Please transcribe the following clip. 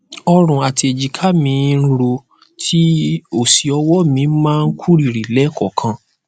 ọrùn àti èjìká mí mí ń ro tí ó sì ọwọ mi máa kú rìrì lẹẹkọọkan